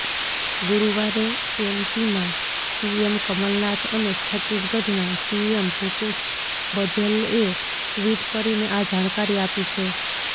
ગુરૂવારે એમપીના સીએમ કમલનાથ અને છત્તીસગઢના સીએમ ભૂપેશ બધેલએ ટવીટ કરીને આ જાણકારી આપી છે